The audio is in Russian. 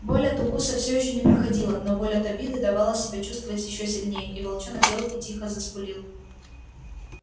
боль от укуса все ещё не проходила но боль от обиды давала себя чувствовать ещё сильнее и волчонок сел и тихо заскулил